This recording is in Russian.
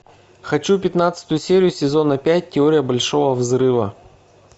хочу пятнадцатую серию сезона пять теория большого взрыва